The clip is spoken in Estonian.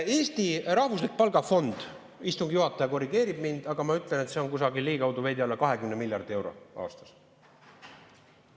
Eesti rahvuslik palgafond, istungi juhataja korrigeerib mind, aga ma ütlen, et see on kusagil veidi alla 20 miljardi euro aastas.